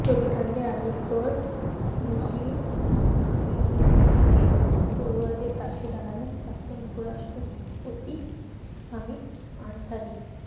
ছবিকাণ্ডে Aligarh Muslim ইউনিভার্সিটির পড়ুয়াদের পাশে দাঁড়ালেন প্রাক্তন উপরাষ্ট্রপতি হামিদ আনসারি